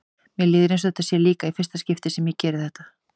Mér líður eins og þetta sé líka í fyrsta skipti sem ég geri þetta.